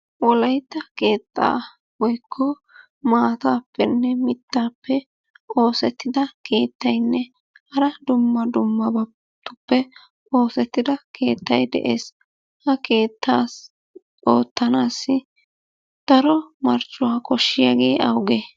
Wolaytta keettaa woykko maatappenne mittappe oosettida keettaynne hara dumma dummabatuppe oosettida keettay de'ees. Ha keettaa oottanassi daro marccuwaa koshshiyaagee awugee?